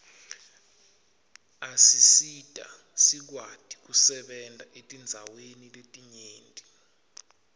asisita sikwati kusebenta etindzaweni letinyenti